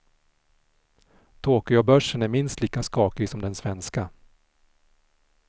Tokyobörsen är minst lika skakig som den svenska.